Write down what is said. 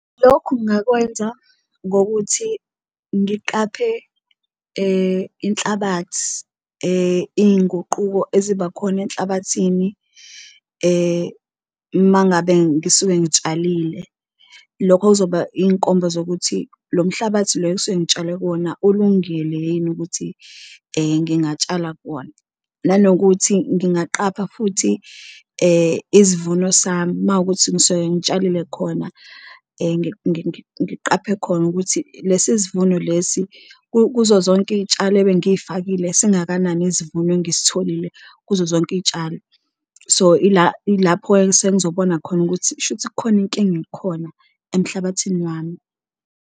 Lokhu ngakwenza ngokuthi ngiqaphe inhlabathi iy'nguquko ezibakhona enhlabathini uma ngabe ngisuke ngitshalile, lokho okuzoba inkomba zokuthi lo mhlabathi lo okusuke ngitshale kuwona ulungele yini ukuthi ngingatshala kuwona. Nanokuthi ngingaqapha futhi isivuno sami mawukuthi ngisuke ngitshalile khona ngiqaphe khona ukuthi, lesi sivuno lesi kuzo zonke iy'tshalo ebengiyifakile singakanani isivuno engisitholile kuzo zonke iy'tshalo. So, ila ilapho-ke esengizobona khona ukuthi kusho ukuthi kukhona inkinga ekhona emhlabathini wami.